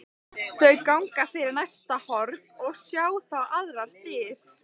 Þau ganga fyrir næsta horn og sjá þá aðrar dyr.